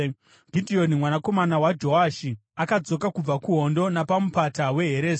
Gidheoni mwanakomana waJoashi akadzoka kubva kuhondo napaMupata weHeresi.